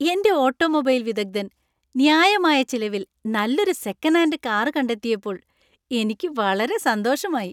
എന്‍റെ ഓട്ടോമൊബൈൽ വിദഗ്ധൻ ന്യായമായ ചിലവിൽ നല്ലൊരു സെക്കൻഡ് ഹാൻഡ് കാർ കണ്ടെത്തിയപ്പോൾ എനിക്ക് വളരെ സന്തോഷമായി.